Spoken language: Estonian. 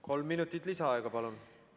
Kolm minutit lisaaega.